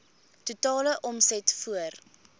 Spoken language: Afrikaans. totale omset voor